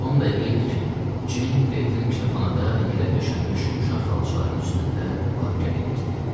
10 dəqiqə idi ki, Jeyn Kleiton kitabxanada yerə döşənmiş yumşaq xalçaların üstündə var-gəl eləyirdi.